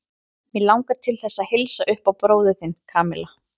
Mig langar til þess að heilsa upp á bróður þinn, Kamilla.